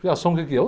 Fiação o que que é?